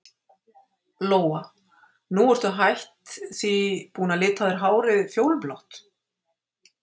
Lóa: Nú ertu hætt því, búin að lita hárið á þér fjólublátt?